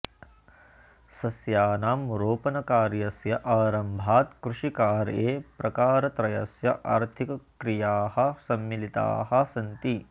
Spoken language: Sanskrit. सस्यानां रोपणकार्यस्य आरम्भात् कृषिकार्ये प्रकारत्रयस्य आर्थिकक्रियाः सम्मिलिताः सन्ति